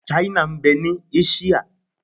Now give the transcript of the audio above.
Ṣáínà ń bẹ ní Áṣíà.